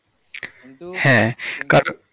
কিন্তু